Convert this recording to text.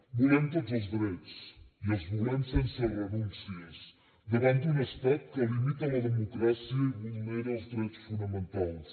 volem tots els drets i els volem sense renúncies davant d’un estat que limita la democràcia i vulnera els drets fonamentals